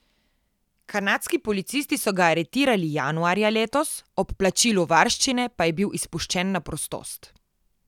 Kanadski policisti so ga aretirali januarja letos, ob plačilu varščine pa je bil izpuščen na prostost.